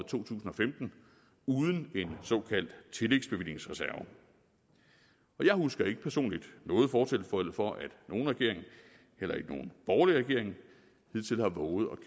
to tusind og femten uden en såkaldt tillægsbevillingsreserve jeg husker ikke personligt noget fortilfælde hvor nogen regering heller ikke nogen borgerlig regering hidtil har vovet